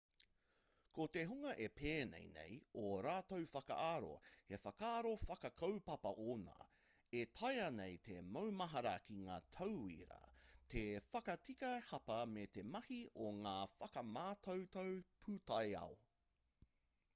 ko te hunga e pēnei nei ō rātou whakaaro he whakaaro whakakaupapa ōna e taea nei te maumahara ki ngā tauira te whakatika hapa me te mahi i ngā whakamātautau pūtaiao